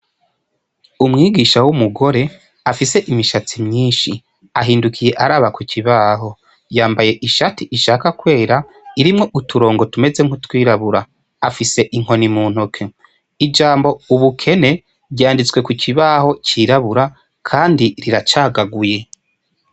Umwigisha w’umugore afise imishatsi myinshi, ahindukiye araba ku kibaho. Yambaye ishati ishaka kwera irimwo uturongo tumeze nk’utwirabura. Afise inkoni mu ntoke. Ijambo ubukene ryanditswe ku kibaho cirabura kandi riracagaguye.